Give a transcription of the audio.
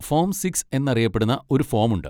Form six എന്നറിയപ്പെടുന്ന ഒരു form ഉണ്ട്.